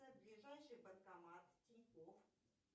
ближайший банкомат тинькофф